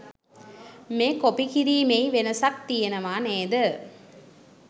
මේ කොපි කිරීමෙයි වෙනසක් තියෙනවා නේද.?